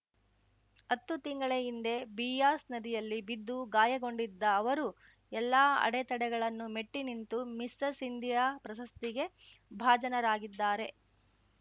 ಹತ್ತು ತಿಂಗಳ ಹಿಂದೆ ಬಿಯಾಸ್‌ ನದಿಯಲ್ಲಿ ಬಿದ್ದು ಗಾಯಗೊಂಡಿದ್ದ ಅವರು ಎಲ್ಲಾ ಅಡೆತಡೆಗಳನ್ನು ಮೆಟ್ಟಿನಿಂತು ಮಿಸಸ್‌ ಇಂಡಿಯಾ ಪ್ರಶಸ್ತಿಗೆ ಭಾಜನರಾಗಿದ್ದಾರೆ